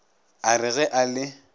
a re ge a le